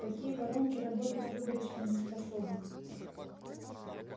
такие воронки работать выборочно не способны